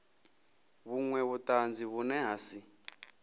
vhunwe vhutanzi vhune ha si